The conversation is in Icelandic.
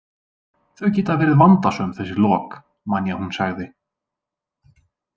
Þau geta verið vandasöm þessi lok, man ég að hún sagði.